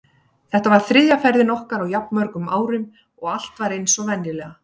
Þetta var þriðja ferðin okkar á jafn mörgum árum og allt var eins og venjulega.